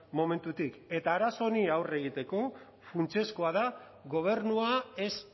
momentutik eta arazo honi aurre egiteko funtsezkoa da gobernua ez